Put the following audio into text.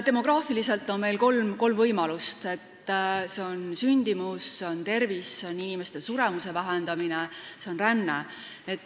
Demograafiliselt on meil järgmised võimalused: sündimus, tervis, suremuse vähendamine, ränne.